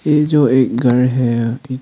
ये जो एक घर है।